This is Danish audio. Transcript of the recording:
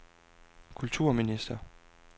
kulturminister